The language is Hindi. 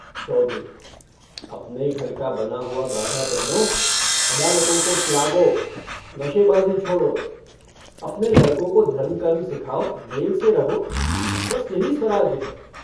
चौधरी - अपने घर का बना हुआ गाढ़ा पहनो। अदालतों को त्यागो। नशेबाजी छोड़ो। अपने लड़कों को धर्म-कर्म सिखाओ, मेल से रहो, बस यही स्वराज्य है।